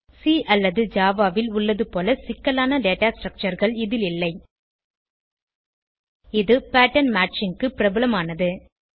C அல்லது Java ல் உள்ளதுபோல சிக்கலான டேட்டா structureகள் இதில் இல்லை இது பேட்டர்ன் மேட்சிங் க்கு பிரபலமானது